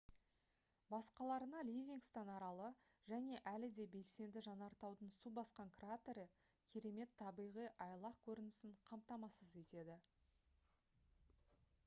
басқаларына ливингстон аралы және әлі де белсенді жанартаудың су басқан кратері керемет табиғи айлақ көрінісін қамтамасыз етеді